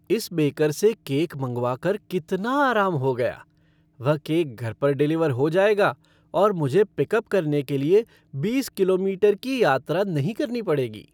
इस बेकर से केक मंगवाकर कितना आराम हो गया। वह केक घर पर डिलीवर हो जाएगा और मुझे पिकअप करने के लिए बीस किलोमीटर की यात्रा नहीं करनी पड़ेगी।